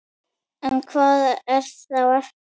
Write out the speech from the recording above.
En hvað er þá eftir?